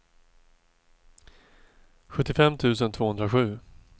sjuttiofem tusen tvåhundrasju